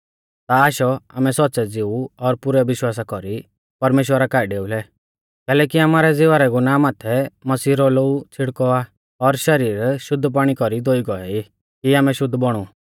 ता आशौ आमै सौच़्च़ै ज़िऊ और पुरै विश्वासा कौरी परमेश्‍वरा काऐ डेउलै कैलैकि आमारै ज़िवा रै गुनाह माथै मसीह रौ लोऊ छ़िड़कौ आ और शरीर शुद्ध पाणी कौरी धोई गौऐ ई कि आमै शुद्ध बौणु